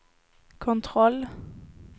kontroll